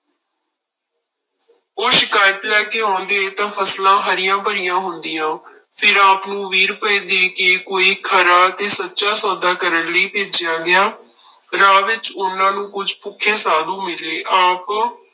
ਉਹ ਸ਼ਿਕਾਇਤ ਲੈ ਕੇ ਆਉਂਦੇ ਤਾਂ ਫਸਲਾਂ ਹਰੀਆਂ ਭਰੀਆਂ ਹੁੰਦੀਆਂ, ਫਿਰ ਆਪ ਨੂੰ ਵੀਹ ਰੁਪਏ ਦੇ ਕੇ ਕੋਈ ਖਰਾ ਤੇ ਸੱਚਾ ਸੌਦਾ ਕਰਨ ਲਈ ਭੇਜਿਆ ਗਿਆ, ਰਾਹ ਵਿੱਚ ਉਹਨਾਂ ਨੂੰ ਕੁੱਝ ਭੁੱਖੇ ਸਾਧੂ ਮਿਲੇ ਆਪ